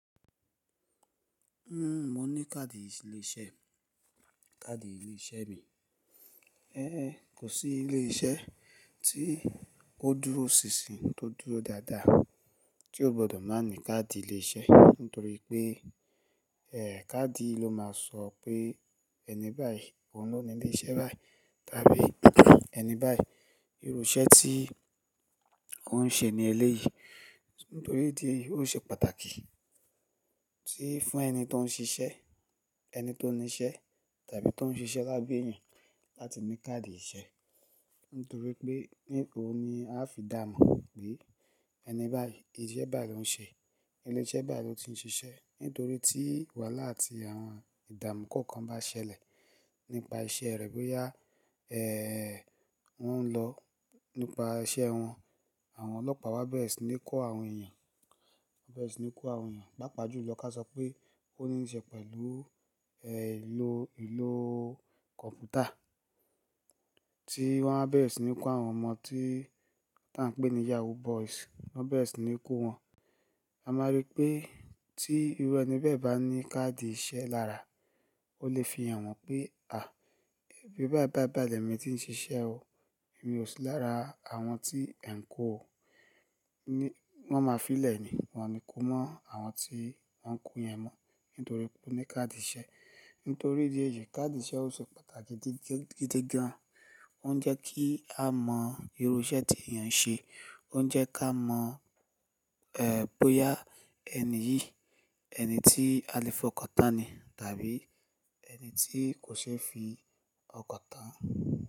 N o mo ní káàdì ilé-iṣẹ́, káàdì ilé-iṣẹ́ mi. Ehn, kò sí ilé-iṣẹ́ tí ó dúró sísìn tó dúró dáadáa tí o gbọ́dọ̀ má ní káàdì ilé-iṣẹ́, nítorí pé eh káàdì ló máa sọ pé ẹni báyìí òun ló ní ilé iṣẹ́ báyìí tàbí ẹni báyìí irú iṣẹ́ tí òun n ṣe ní ilé yìí. Nítorí tí ó ṣe pàtàkì tí fún ẹni tó n ṣiṣẹ́, ẹni tó ní iṣẹ́ tàbí tó n ṣiṣẹ́ lábẹ́ èèyàn láti ní káàdì iṣẹ́. Nítorí pé nínú òun ni a fi dá mọ̀ pé ẹni báyìí iṣẹ́ bai lo ń ṣe, ilé-iṣẹ́ bá ló ti ń ṣiṣẹ́. Nítorí tí wàhálà àti àwọn ìdààmú kọ̀ọ̀kan bá ṣẹlẹ̀ nípa iṣẹ́ rẹ̀ bóyá eh wọ́n n lọ nípa iṣẹ́ wọn, àwọn ọlọ́pàá wa bẹ̀rẹ̀ sí ní kó àwọn èèyàn, wọ́n bẹ̀rẹ̀ sí ní kó àwọn èèyàn. Pä́pa jú lọ ká sọ pé ó ní n ṣe pẹ̀lú eh ìlò, ìlò kọ̀ǹpútà tí wọ́n bá bẹ̀rẹ̀ sí ní kó àwọn ọmọ tí, tí à ń pè ní yahoo boys wọ́n bá bẹ̀rẹ̀ sí ní kó wọn, a máa rí pé tí irú ẹni bẹ́ẹ̀ bá ní káàdì iṣẹ́ lára, ó lè fihàn wọn pé à bí bái bài bai le mi tí ń ṣiṣẹ́ o, èmi ò sí lára àwọn tí ẹ̀ ń kó o. Ni wọ́n máa fi lẹ̀ ni, wọ́n ní kó mọ́ àwọn tí wọ́n ń kó yẹn mọ́ nítorí pé ó ní káàdì iṣẹ́. Nítorí di èéyì káàdì iṣẹ́ ó ṣe pàtàkì gidi gan. Ó ń jẹ́ kí a mọ irú iṣẹ́ tí èèyàn n ṣe, ó ń jẹ́ ká mọ̀ eh bóyá ẹni yìí ẹni tí a lè fi ọkọ̀ tán ni tàbí ẹni tí kò ṣeé fi ọkọ̀ tán.